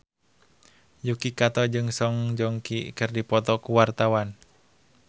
Yuki Kato jeung Song Joong Ki keur dipoto ku wartawan